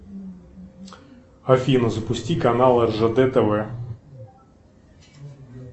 афина запусти канал ржд тв